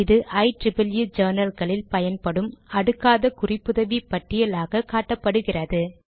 இது ஐ ஜர்னல் களில் பயன்படும் அடுக்காத குறிப்புதவி பட்டியல் ஆக காட்டப்படுகிறது